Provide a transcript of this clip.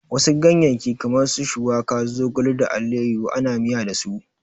Wasu ganyeyyaki kamar su shuwaka, zogale da allayahu ana miya dasu.